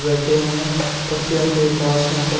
बैठे हैं पक्षीयां के पास यहां पर--